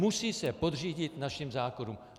Musí se podřídit našim zákonům.